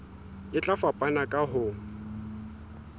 e tla fapana ka ho